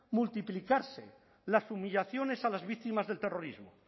multiplicarse las humillaciones a las víctimas del terrorismo